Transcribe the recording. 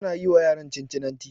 Tana yi wa yaran Cincinnati